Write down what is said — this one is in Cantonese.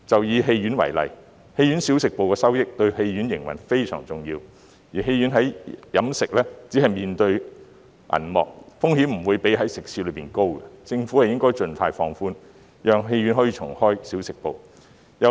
以戲院為例，小食部的收益對戲院營運相當重要，而觀眾在戲院飲食時只會面對銀幕，風險不比食肆高，因此政府應該盡快放寬限制，讓戲院可以重開小食部。